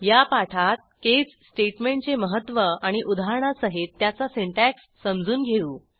या पाठात केस स्टेटमेंटचे मह्त्व आणि उदाहरणासहित त्याचा सिंटॅक्स समजून घेऊ